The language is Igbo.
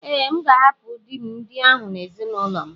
Ee, M ga-ahapụ di m ndị ahụ na ezinụlọ m.